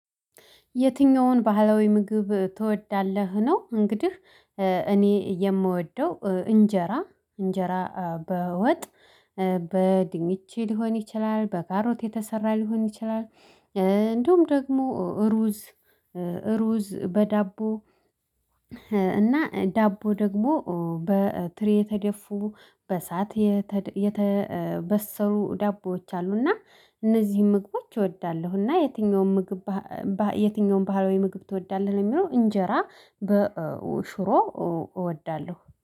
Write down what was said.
የትኛውን ባህላዊ ምግብ ትወዳለህ ነው? እንግዲህ እኔ የምወደው እንጀራ እንጀራ በወጥ በድንች ሊሆን ይችላል በካሮት የተሰራ ሊሆን ይችላል። እንዲሁም ደግሞ ሩዝ። ሩዝ በዳቦ እና ዳቦ ደግሞ በትሪ የተደፉ በእሳት የተበሰሉ ዳቦዎች አሉ። እና እነዚህን ምግቦች እወዳለሁ። እና የትኛውም ምግብ የትኛውም ባህላዊ ምግብ ትወዳለህ? የሚለው እንጀራ በሽሮ እወዳለሁ